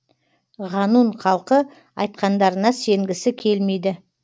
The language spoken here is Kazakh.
ғанун халқы айтқандарына сенгісі келмейді